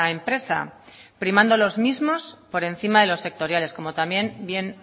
empresa primando los mismos por encima de los sectoriales como también bien